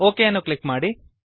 okay ಅನ್ನು click ಮಾಡಿ